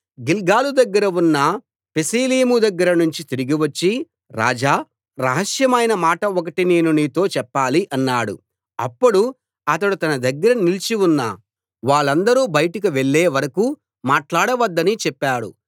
గిల్గాలు దగ్గర ఉన్న పెసీలీము దగ్గర నుంచి తిరిగి వచ్చి రాజా రహస్యమైన మాట ఒకటి నేను నీతో చెప్పాలి అన్నాడు అప్పుడు అతడు తన దగ్గర నిలిచి ఉన్న వాళ్ళందరూ బయటకు వెళ్ళే వరకూ మాట్లాడవద్దని చెప్పాడు